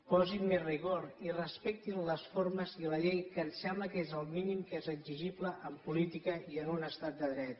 posin més rigor i respectin les formes i la llei que em sembla que és el mínim que és exigible en política i en un estat de dret